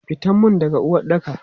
Fitan mun daga uwaɗɗaka!